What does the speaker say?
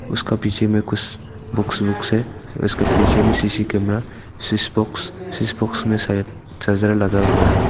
उसका पीछे में कुछ बुक्स बुक्स है उसका पीछे में सी_सी कैमरा सिस बॉक्स सिस बॉक्स में शायद चार्जर लगा हुआ है।